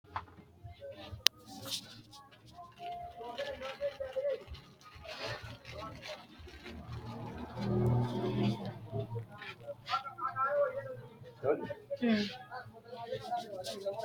kowiicho leellannori maati ? qooxeessu maa lawaanno ? hiitoo kuuli leellanno ? tini xawissannori mannu kuri sidaamu meenti mayra mitto dana mayra uddirinoikka